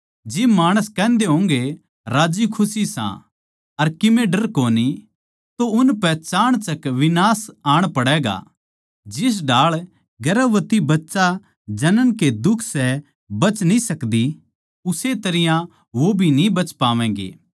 जिब माणस कहन्दे होंगे राज्जीखुशी सां अर कीमे डर कोनी तो उनपै चाणचक विनाश आण पड़ैगा जिस ढाळ गर्भवती बच्चा जनन के दुख से बच न्ही सकदी उस्से तरियां वो भी बच न्ही पावैंगें